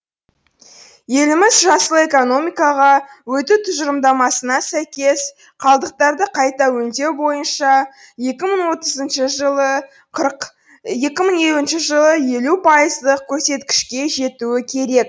еліміз жасыл экономикаға өту тұжырымдамасына сәйкес қалдықтарды қайта өңдеу бойынша екі мың отызыншы жылы қырық екі мың елуінші жылы елу пайыздық көрсеткішке жетуі керек